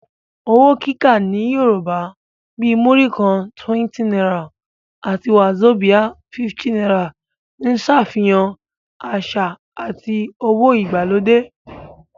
Owó kíkà ní Yorùbá, bíi Múrí kan (20 naira) àti wàzobíà (50 naira) ń ṣàfihàn àṣà àti owó ìgbàlódé